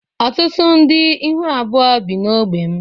Ọtụtụ ndị ihu abụọ bi n’ógbè m.